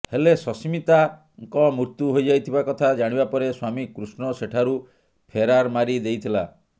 ହେଲେ ସସ୍ମିତାଙ୍କ ମୃତ୍ୟୁ ହୋଇଯାଇଥିବା କଥା ଜାଣିବା ପରେ ସ୍ୱାମୀ କୃଷ୍ଣ ସେଠାରୁ ଫେରାର ମାରି ଦେଇଥିଲା